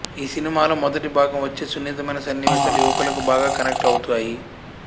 ఈ సినిమాలో మొదటి భాగం వచ్చే సున్నితమైన సన్నివేశాలు యువకులకు బాగా కనెక్ట్ అవుతాయి